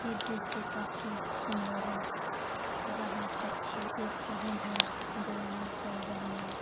ये दृश्य काफी सुंदर है जहां पक्षी उर रहे हैं दो नाव चल रही है।